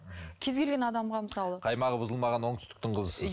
кез келген адамға мысалы қаймағы бұзылмаған оңтүстіктің қызысыз